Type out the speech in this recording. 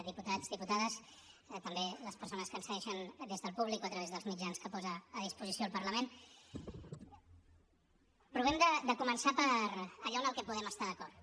diputats diputades també les persones que ens segueixen des del públic o a través dels mitjans que posa a disposició el parlament provem de començar per allò en el que podem estar d’acord